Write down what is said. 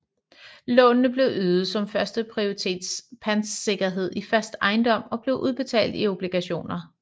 Lånene blev ydet som førsteprioritets pantesikkerhed i fast ejendom og blev udbetalt i obligationer